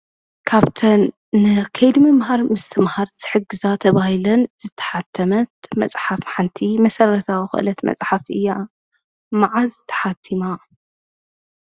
ካብተን ንከይዲ ምምህር ምስትምሃር ዝሕግዛ እየን ተባሂለን ዝተሓተመት መፅሓፍ ሓንቲ መሰረታዊ ዝኮነት መፅሓፍ እያ፡፡ መዓዝ ተሓቲማ?